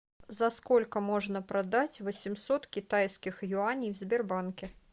за сколько можно продать восемьсот китайских юаней в сбербанке